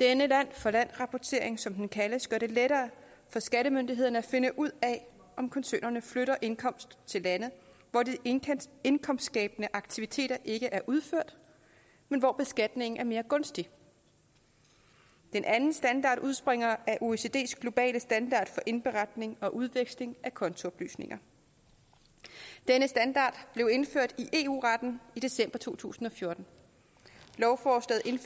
denne land for land rapportering som den kaldes gør det lettere for skattemyndighederne at finde ud af om koncernerne flytter indkomst til lande hvor de indkomstskabende aktiviteter ikke er udført men hvor beskatningen er mere gunstig den anden standard udspringer af oecds globale standard for indberetning og udveksling af kontooplysninger den standard blev indført i eu retten i december to tusind og fjorten